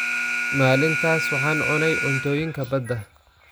Maalintaas, waxaan cunay cuntooyinka badda.